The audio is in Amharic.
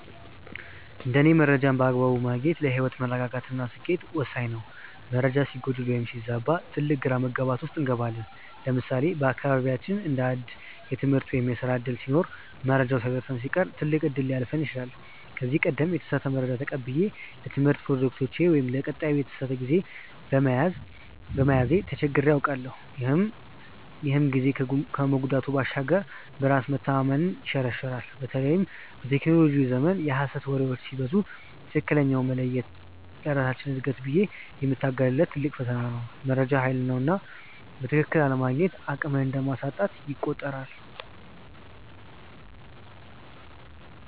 እንደ እኔ መረጃን በአግባቡ ማግኘት ለህይወት መረጋጋት እና ስኬት ወሳኝ ነው። መረጃ ሲጎድል ወይም ሲዛባ ትልቅ ግራ መጋባት ውስጥ እንገባለን። ለምሳሌ በአካባቢያችን አንድ አዲስ የትምህርት ወይም የስራ ዕድል ሲኖር መረጃው ሳይደርሰን ሲቀር ትልቅ እድል ሊያልፈን ይችላል። ከዚህ ቀደም የተሳሳተ መረጃ ተቀብዬ ለትምህርት ፕሮጀክቴ ወይም ለቀጠሮዬ የተሳሳተ ጊዜ በመያዜ ተቸግሬ አውቃለሁ፤ ይህም ጊዜን ከመጉዳት ባሻገር በራስ መተማመንን ይሸረሽራል። በተለይም በቴክኖሎጂው ዘመን የሐሰት ወሬዎች ሲበዙ ትክክለኛውን መለየት ለራሳችን እድገት ብዬ የምታገልለት ትልቅ ፈተና ነው። መረጃ ሃይል ነውና በትክክል አለማግኘቱ አቅምን እንደማሳጣት ይቆጠራል።